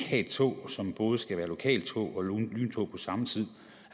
et tog som både skal være lokaltog og lyntog på samme tid